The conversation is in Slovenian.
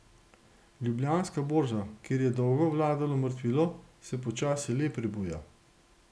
Ljubljanska borza, kjer je dolgo vladalo mrtvilo, se počasi le prebuja.